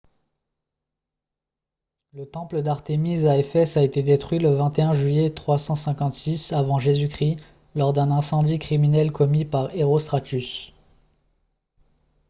le temple d'artémis à ephèse a été détruit le 21 juillet 356 avant j.-c. lors d'un incendie criminel commis par herostratus